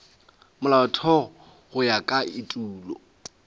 molaotheo go ya ka etulo